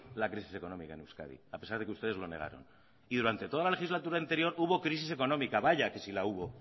la crisis económica en euskadi a pesar de que ustedes lo negaron y durante toda la legislatura anterior hubo crisis económica vaya que si la hubo